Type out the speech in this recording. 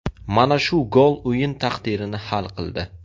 Mana shu gol o‘yin taqdirini hal qildi.